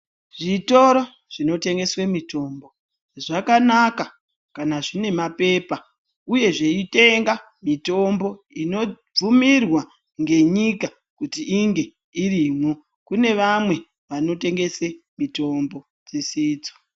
Zvitoro zvinotengeswa mitombo zvakanaka kana zvine mapepa uye zveitenga mutombo inobvumirwa ngenyika kuti inge irimwo kune vamwe vanotengese mitombo dzisidzo.